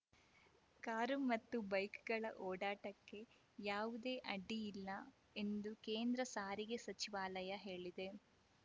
car ಮತ್ತು ಬೈಕ್‌ಗಳ ಓಡಾಟಕ್ಕೆ ಯಾವುದೇ ಅಡ್ಡಿಯಿಲ್ಲ ಎಂದು ಕೇಂದ್ರ ಸಾರಿಗೆ ಸಚಿವಾಲಯ ಹೇಳಿದೆ